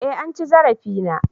eh an ci zarafi na